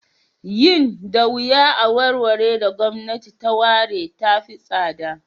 Yin da yuwa a wuraren da gwamnati ta ware ta fi tsada.